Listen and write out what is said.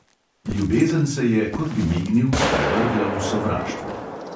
Ljubezen se je, kot bi mignil, sprevrgla v sovraštvo.